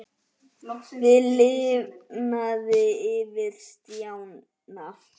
Það lifnaði yfir Stjána.